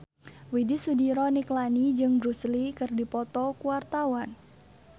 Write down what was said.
Widy Soediro Nichlany jeung Bruce Lee keur dipoto ku wartawan